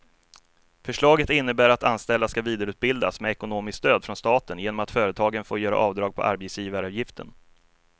Förslaget innebär att anställda ska vidareutbildas med ekonomiskt stöd från staten genom att företagen får göra avdrag på arbetsgivaravgiften.